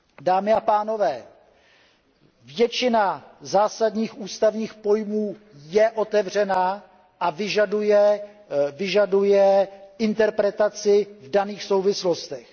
Dámy a pánové, většina zásadních ústavních pojmů je otevřená a vyžaduje interpretaci v daných souvislostech.